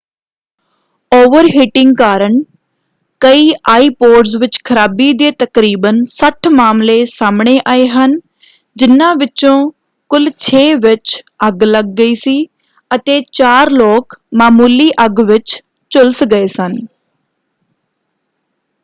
Overheating ਕਾਰਨ ਕਈ iPods ਵਿੱਚ ਖਰਾਬੀ ਦੇ ਤਕਰੀਬਨ 60 ਮਾਮਲੇ ਸਾਹਮਣੇ ਆਏ ਹਨ ਜਿਨ੍ਹਾਂ ਵਿੱਚੋਂ ਕੁੱਲ ਛੇ ਵਿੱਚ ਅੱਗ ਲੱਗ ਗਈ ਸੀ ਅਤੇ ਚਾਰ ਲੋਕ ਮਾਮੂਲੀ ਅੱਗ ਵਿੱਚ ਝੁਲਸ ਗਏ ਸਨ।